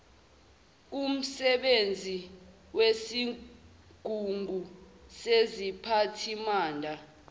kumsebenzi wesigungu seziphathimanda